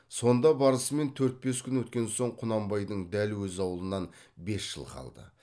сонда барысымен төрт бес күн өткен соң құнанбайдың дәл өз аулынан бес жылқы қалды